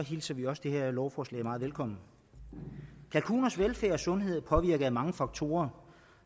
hilser vi også det her lovforslag meget velkommen kalkuners velfærd og sundhed er påvirket af mange faktorer